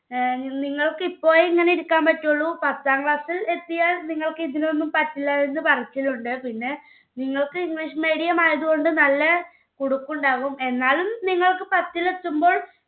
നിങ്ങൾക്ക് ഇപ്പോഴേ ഇങ്ങനെ ഇരിക്കാൻ പറ്റുള്ളൂ പത്താം class ൽ എത്തിയാൽ നിങ്ങൾക്ക് ഇതിനൊന്നും പറ്റില്ല എന്ന് പറച്ചിലുണ്ട്. പിന്നെ നിങ്ങൾക്ക് english medium ആയതുകൊണ്ട് നല്ല ഉണ്ടാവും. എന്നാലും നിങ്ങൾക്ക് പത്തിൽ എത്തുമ്പോൾ